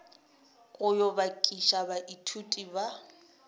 go yo bakiša baithuti ba